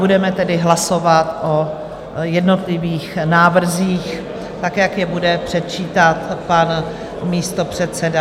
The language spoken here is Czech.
Budeme tedy hlasovat o jednotlivých návrzích tak, jak je bude předčítat pan místopředseda.